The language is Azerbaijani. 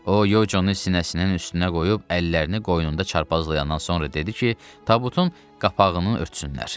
O Yocunu sinəsinin üstünə qoyub əllərini qoynunda çarpazlayandan sonra dedi ki, tabutun qapağını örtsünlər.